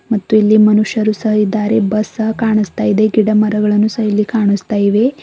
ಮತ್ತು ಇಲ್ಲಿ ಮನುಷ್ಯರು ಸಹ ಇದ್ದಾರೆ ಬಸ್ ಸಹ ಕಾಣಿಸ್ತಾ ಇದೆ ಗಿಡಮರಗಳನ್ನು ಸಹ ಇಲ್ಲಿ ಕಾಣಿಸ್ತಾ ಇವೆ.